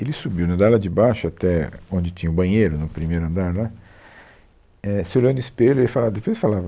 Ele subiu do andar lá de baixo, até onde tinha o banheiro, no primeiro andar lá, é, se olhou no espelho, ele falava, depois ele falava,